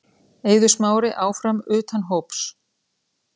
Eiður Smári áfram utan hóps